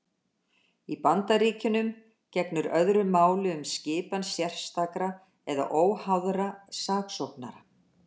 Í Bandaríkjunum gegnir öðru máli um skipan sérstakra eða óháðra saksóknara.